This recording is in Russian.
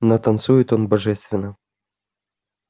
но танцует он божественно